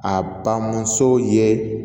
A bamuso ye